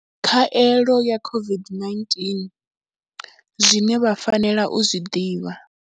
Khaelo ya COVID-19. Zwine vha fanela u zwi ḓivha.